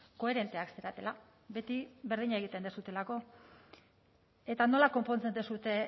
koherenteak zaretela beti berdina egiten duzuelako eta nola konpontzen duzue